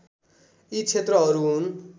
यी क्षेत्रहरू हुन्